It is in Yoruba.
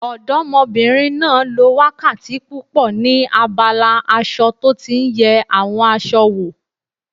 Ọdọ́mọbìnrin náà lo wákàtí púpọ̀ ní abala aṣọ tó tí n yẹ àwọn aṣọ wò